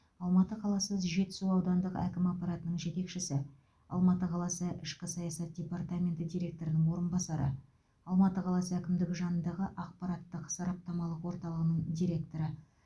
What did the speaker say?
алматы қаласының жетісу аудандық әкім аппаратының жетекшісі алматы қаласы ішкі саясат департаменті директорының орынбасары алматы қаласы әкімдігі жанындағы ақпараттық сараптамалық орталығының директоры